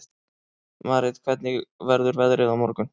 Marit, hvernig verður veðrið á morgun?